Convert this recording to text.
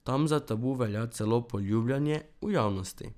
Tam za tabu velja celo poljubljanje v javnosti.